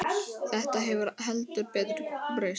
Þetta hefur heldur betur breyst.